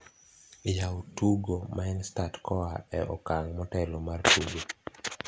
yaw tugo minestart koa e okang motelo mar tugo